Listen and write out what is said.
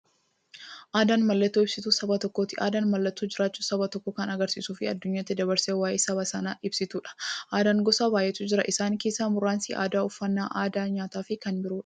Aadaan mallattoo ibsituu saba tokkooti. Aadaan mallattoo jiraachuu saba tokkoo kan agarsiistufi addunyyaatti dabarsitee waa'ee saba sanaa ibsituudha. Aadaan gosa baay'eetu jira. Isaan keessaa muraasni aadaa, uffannaa aadaa nyaataafi kan biroodha.